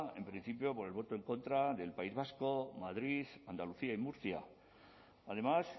en principio por el voto en contra del país vasco madrid andalucía y murcia además